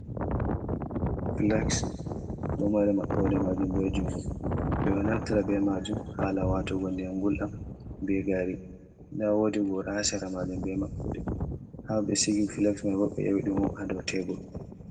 Flaks ɗo mari maɓɓode maajum bee junngo. Ɓe ɗo naftira bee maajum haala waatugo ndiyam nguɗam bee gaari nda wodi goora haa sera maajum bee maɓɓode haa ɓe sigi flaks may boo, ɓe 'yowi ɗum on haa dow teebur.